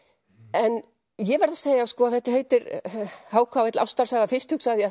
en ég verð að segja að þetta heitir h k l ástarsaga fyrst hugsaði ég